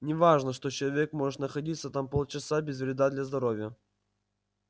не важно что человек может находиться там полчаса без вреда для здоровья